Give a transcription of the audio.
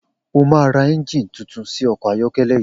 O máa ra é̩ǹjìnì tuntun sí o̩kò̩ ayó̩ké̩lé̩ yìí!